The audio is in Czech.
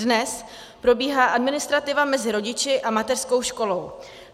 Dnes probíhá administrativa mezi rodiči a mateřskou školou.